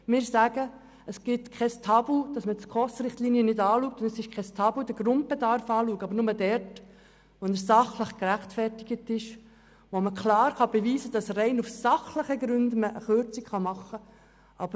Für uns gibt es kein Tabu, die SKOS-Richtlinien und den Grundbedarf zu überprüfen, aber nur dort, wo es sachlich gerechtfertigt ist, und wo man klar beweisen kann, dass man aufgrund rein sachlicher Gründe eine Kürzung vornehmen kann.